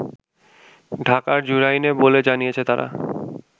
ঢাকার জুরাইনে বলে জানিয়েছে তারা